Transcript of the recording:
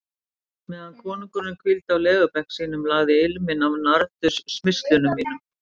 Meðan konungurinn hvíldi á legubekk sínum, lagði ilminn af nardussmyrslum mínum.